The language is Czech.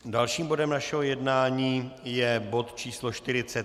Dalším bodem našeho jednání je bod číslo